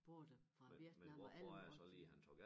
Både fra Vietnam og alle mulige også